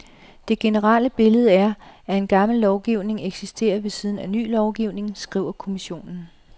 Det generelle billede er, at gammel lovgivning eksisterer ved siden af ny lovgivning, skriver kommissionen.